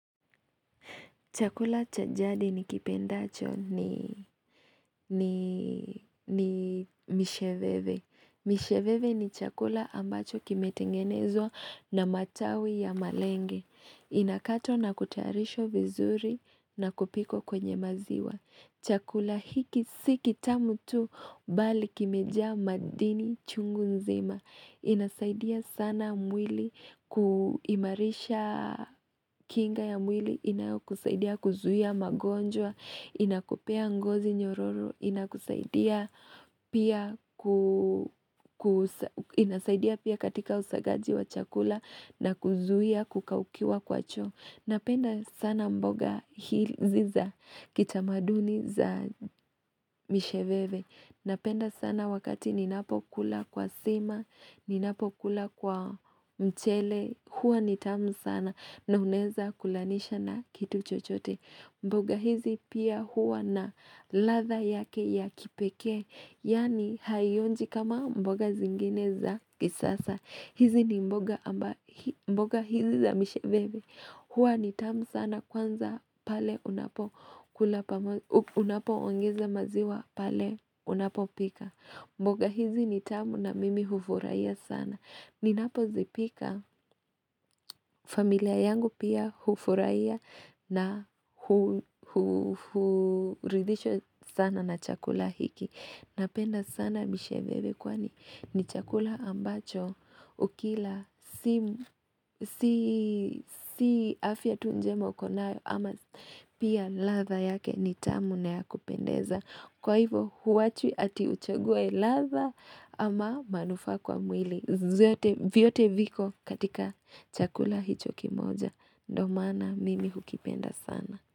Chakula cha jadi nikipendacho ni misheveve. Misheveve ni chakula ambacho kimetengenezwa na matawi ya malenge. Inakatwa na kutayarishwa vizuri na kupikwa kwenye maziwa. Chakula hiki si kitamu tu bali kimejaa madini chungu nzima. Inasaidia sana mwili kuimarisha kinga ya mwili inayokusaidia kuzuia magonjwa, inakupea ngozi nyororo, inakusaidia pia katika usagaji wa chakula na kuzuia kukaukiwa kwa choo. Napenda sana mboga hizi za kitamaduni za misheveve. Napenda sana wakati ninapokula kwa sima, ninapokula kwa mchele. Huwa ni tamu sana na unaweza kulanisha na kitu chochote. Mboga hizi pia huwa na ladha yake ya kipekee. Yaani haionji kama mboga zingine za kisasa. Hizi ni mboga hizi za msheveve. Huwa ni tamu sana kwanza pale unapoongeza maziwa pale unapopika. Mboga hizi ni tamu na mimi hufurahia sana. Ninapozipika familia yangu pia hufurahia na huridhishwa sana na chakula hiki. Napenda sana misheveve kwani ni chakula ambacho ukila si afya tu njema uko nayo ama pia ladha yake ni tamu na ya kupendeza. Kwa hivo huwachwi heti uchague ladha ama manufa, a kwa mwili vyote viko katika chakula hicho kimoja. Ndio maana mimi hukipenda sana.